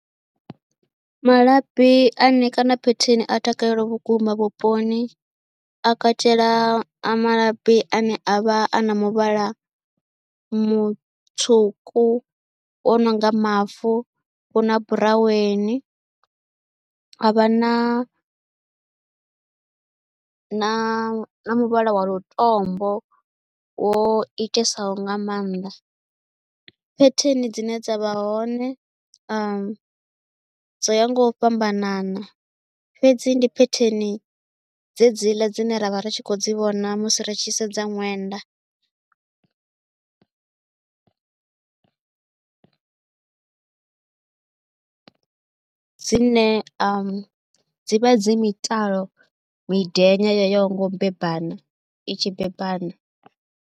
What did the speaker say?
Malabi ane kana phetheni a takalelwa vhukuma vhuponi a katela a malabi ane a vha a na muvhala mutswuku wo no nga mavu, hu na buraweni ha vha na na muvhala wa lutombo wo itisaho nga maanḓa. Phetheni dzine dza vha hone dzo ya nga u fhambanana fhedzi ndi phetheni dzedziḽa dzine ra vha ri tshi khou dzi vhona musi ri tshi sedza ṅwenda, dzine a dzi dzi mitalo miḓenya yo yaho nga u beba kana i tshi bebana.